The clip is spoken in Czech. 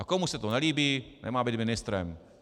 A komu se to nelíbí, nemá být ministrem!